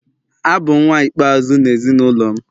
Abụ m nwa ikpeazụ n’ezinụlọ m